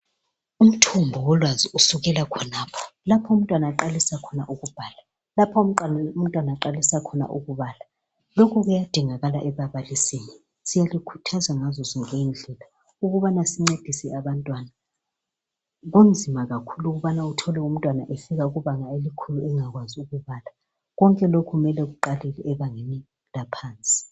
Umthombo wolwazi usukela khonapho, lapho umntwana aqalisa khona ukubhala lokubala. Lokho kuyadingakala ebabalisini. Siyalikhuthaza ngazozonke indlela ukubana sincedise abantwana. Kunzima kakhulu ukubana uthole umntwana efika ebangeni elikhulu engakwanisi ukubala, konke lokhu kumele kuqale ezingeni laphansi.